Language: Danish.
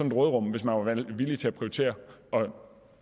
et råderum hvis man var villig til at prioritere det og